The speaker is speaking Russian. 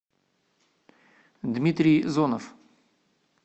дмитрий зонов